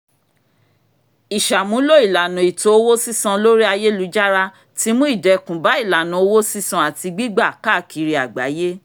ìṣàmúlò ìlànà ètò owó sísan lórí ayélujára ti mú ìdẹ̀kùn bá ìlànà owó sísan àti gbígbà káàkiri àgbáyé